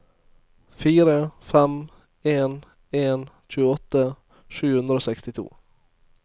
fire fem en en tjueåtte sju hundre og sekstito